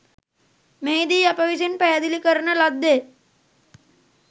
මෙහිදී අප විසින් පැහැදිලි කරන ලද්දේ